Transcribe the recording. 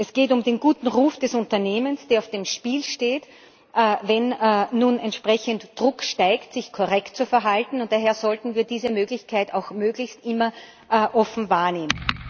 Es geht um den guten Ruf des Unternehmens, der auf dem Spiel steht, wenn nun entsprechend der Druck steigt, sich korrekt zu verhalten, und daher sollten wir diese Möglichkeit auch möglichst immer offen wahrnehmen.